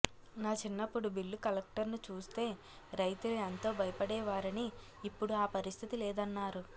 నా చిన్నప్పుడు బిల్లు కలెక్టర్ను చూస్తే రైతులు ఎంతో భయపడేవారని ఇప్పుడు ఆ పరిస్థితి లేదన్నారు